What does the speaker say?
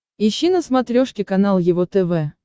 ищи на смотрешке канал его тв